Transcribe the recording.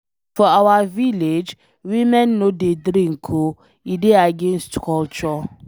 For our village, women no dey drink oo, e dey against culture.